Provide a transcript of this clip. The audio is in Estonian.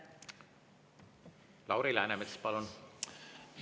Lauri Läänemets, palun!